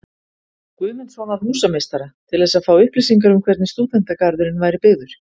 Guðmundssonar húsameistara, til þess að fá upplýsingar um hvernig Stúdentagarðurinn væri byggður.